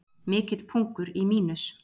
Mikill pungur í Mínus